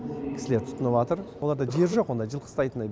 кісілер түтыныватыр оларда жер жоқ ондай жылқы ұстайтындай